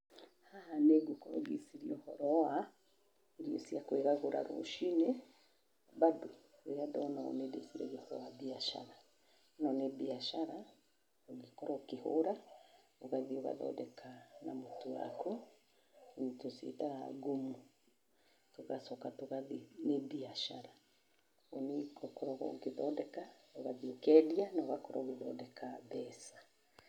Haha nĩngũkorwo ngĩciria ũhoro wa, irio cia kũĩgagũra rũcinĩ. Bado rĩrĩa ndona ũũ nĩndĩciragia ũhoro wa mbiacara. Ĩno nĩ mbiacara, ũngĩkorwo ũkĩhũra, ũgathiĩ ũgathondeka na mũtu waku, tũciĩtaga ngumu, tũgacoka tũgathiĩ, nĩ mbiacara. Rĩu niĩ ngũkoragwo ngĩthondeka, ũgathiĩ ũkendia, na ũgakorwo ũgĩthondeka mbeca.